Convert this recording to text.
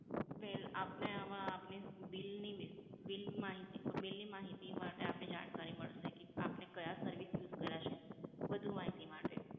well આપને આમાં આપની bill ની, bill માહિતી, bill ની માહિતી માટે આપને જાણકારી મળસે કે આપને કયા service use કર્યા છે વધુ માહિતી માટે.